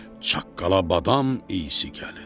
Çaqqala-badam eysi gəlir.